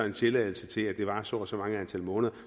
en tilladelse til at det varer så og så mange måneder og